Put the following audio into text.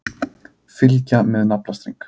Fylgja með naflastreng.